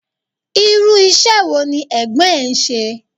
Irú ìṣe wo ní Ẹ̀gbọ́n ẹ ń ṣe?